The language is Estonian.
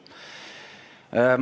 avastanud.